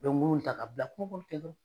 I bɛ ŋunun in ta ka bila ten dɔrɔn.